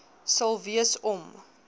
sal wees om